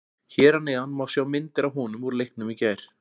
Hér að neðan má sjá myndir af honum úr leiknum í gær.